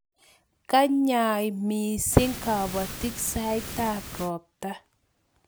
kanyei mising kabotik saitab robta